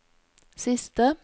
siste